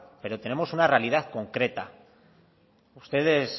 pero tenemos una realidad concreta ustedes